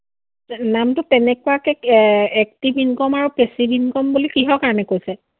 নামটো তেনেকুৱাকে এৰ active income আৰু passive income বুলি কিহৰ কাৰণ কৈছে?